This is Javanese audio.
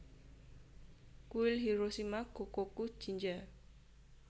Kuil Hiroshima Gokokujinja